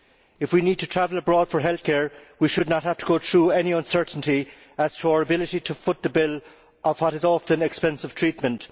If we need to travel abroad for health care, we should not have to go through any uncertainty as to our ability to foot the bill for what is often expensive treatment.